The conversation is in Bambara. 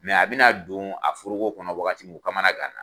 a bɛna don a foroko kɔnɔ wagati min u kamana ganna